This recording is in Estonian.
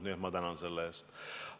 Nii et ma tänan teid selle eest!